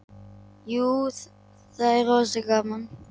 Jú, það er rosa gaman.